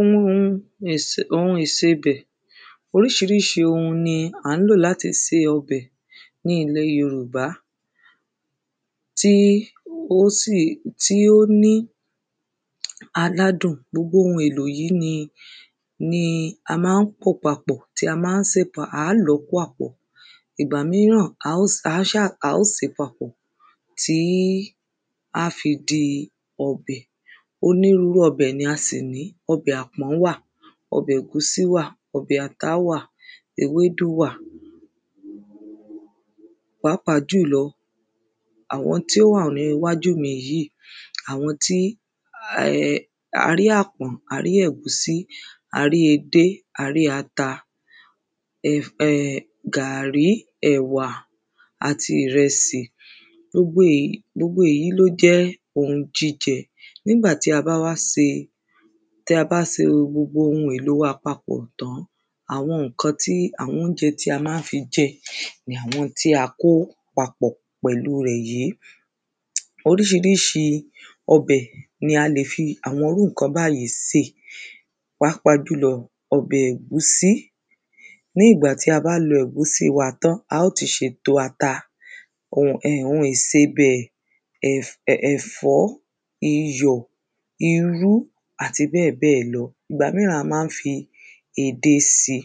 um Ohun ìsebè̩. Orís̩irís̩i ohun ni à ń lò láti se o̩bè̩ ní ilè̩ yorùbá tí ósì um tí ó ní aládùn, gbogbo ohun èlò yí ni ni a má n pò papò̩ tí a má n sè pa a ń lò kó ápò̩. Ìgbà míràn a ó s, a s̩á, a ó sè papò̩ tí á fi di o̩bè̩. Onírurú o̩bè̩ ni a sì ní, o̩bè̩ àpó̩n wà, o̩bè̩ è̩gúsí wà, o̩bè̩ ata wà, ewédú wà, pàápàá jù lo̩, àwo̩n tí ó wà ní iwájú mi yì, àwo̩n tí um arí àpòn, arí è̩gúsí, arí edé, arí ata, um gàrí, è̩wà, àti ìre̩sì. Gbogbo èyí, gbogbo èyí ló jé̩ ohun jíje̩, nígbàtí abá wá se, tí a bá se gbogbo òhun èlo wa papò̩ tán, àwo̩n ǹkan tí, àwo̩n óúnje tí a má fi je̩ ni àwo̩n tí a kó papò̩ pè̩lu rè yí. Orís̩irís̩i o̩bè ni a lè fi irú ǹkan báyì sè, pàápàá jù lo̩, o̩bè̩ è̩gúsí. Ní ìgbà tí a bá lo̩ è̩gúsí wa tán, a ó ti s̩e èto ata, um ohun ìsebè̩ um um è̩fó̩, iyò̩, irú àti bé̩è̩bé̩è̩ lo̩. Ìgbà míràn a má n fi edé si.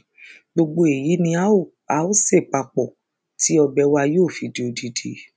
Gbogbo èyí ni á ò a ó sè papò̩ tí o̩bè̩ wa yi ó fi di odindin.